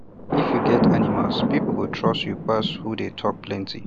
if you get animals people go trust you pass who dey talk plenty